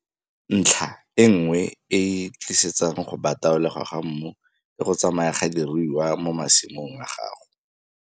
Ntlha e nngwe e e tlisetsang go bataolegwa ga mmu ke go tsamaya ga diruiwa mo masimong a gago.